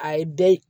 A ye bɛɛ